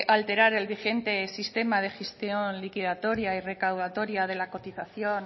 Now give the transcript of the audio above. alterar el vigente sistema de gestión liquidataria y recaudatoria de la cotización